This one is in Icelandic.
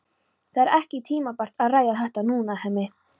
Það er ekki tímabært að ræða þetta núna, Hemmi.